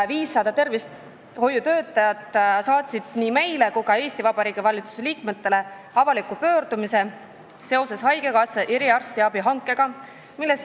500 tervishoiutöötajat saatsid nii meile kui ka Eesti Vabariigi valitsuse liikmetele avaliku pöördumise seoses haigekassa eriarstiabi hankega.